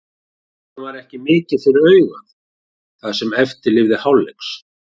Leikurinn var ekki mikið fyrir augað það sem eftir lifði hálfleiks.